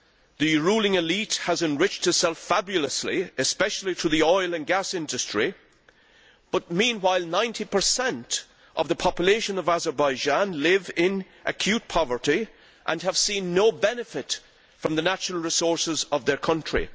The ruling elite has enriched itself fabulously, especially in the oil and gas industry, while 90 of the population of Azerbaijan live in acute poverty and have seen no benefit from the natural resources of their country.